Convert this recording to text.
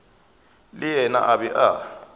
le yena a be a